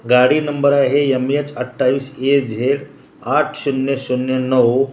गाडी नंबर आहे M H २८ A Z आठ शून्य शून्य नऊ --